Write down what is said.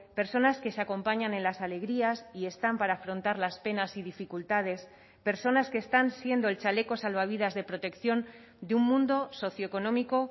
personas que se acompañan en las alegrías y están para afrontar las penas y dificultades personas que están siendo el chaleco salvavidas de protección de un mundo socioeconómico